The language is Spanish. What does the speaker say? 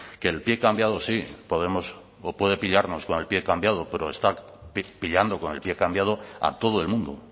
que el pie cambiado sí podemos o puede pillarnos con el pie cambiado pero está pillando con el pie cambiado a todo el mundo